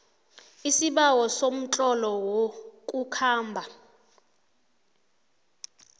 isibawo somtlolo wokukhamba